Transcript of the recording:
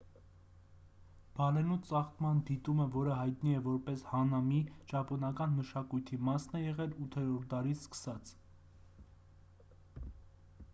բալենու ծաղկման դիտումը որը հայտնի է որպես հանամի ճապոնական մշակույթի մասն է եղել 8-րդ դարից սկսած